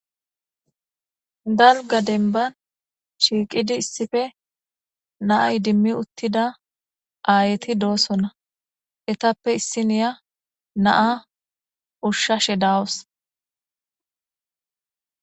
Dalga denban shiiqidi issife naay dimmi uttida aayti doossona etappe issiniya naa ushshashe dawus.